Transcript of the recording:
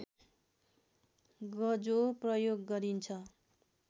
गजो प्रयोग गरिन्छ